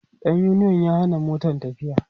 ɗan uniyon ya Hana Motan tafiya